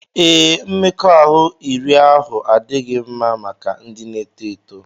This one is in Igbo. Ee, mmekọahụ iri ahụ adịghị mma maka ndị na-eto eto